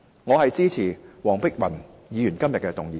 我支持黃碧雲議員今天的議案。